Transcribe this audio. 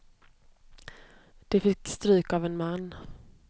De fick stryk av en man.